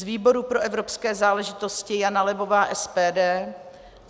Z výboru pro evropské záležitosti Jana Levová - SPD.